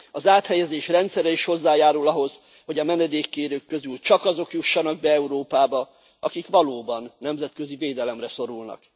Az áthelyezés rendszere is hozzájárul ahhoz, hogy a menedékkérők közül csak azok jussanak be Európába, akik valóban nemzetközi védelemre szorulnak.